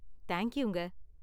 தேங்க்யூங்க.